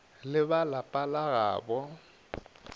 le ba lapa la gabo